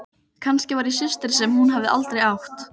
Skaut því verkefni inn á milli til að fá lausafé.